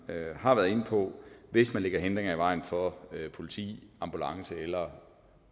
har været inde på hvis man lægger hindringer i vejen for politi ambulance eller